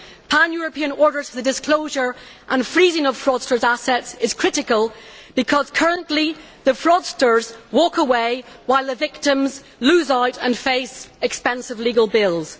Pan European orders for the disclosure and freezing of fraudsters' assets are critical, because currently the fraudsters walk away while the victims lose out and face expensive legal bills.